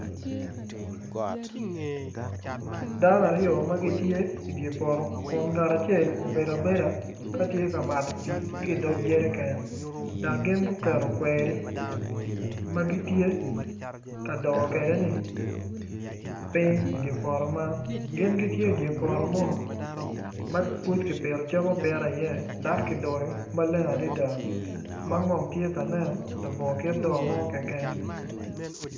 Dano aryo ma gitye idye poto kun ngat acel obedo abeda ka tye ka mato pii ki idog jeriken dok gin guketo kweri ma gitye ka doo kwedeni piny idye poto man gin gitye idye poto mo ma pud kipito cam apita iye dok kidoyo maleng adada ma ngom tye ka nen labongo kit doo mo keken.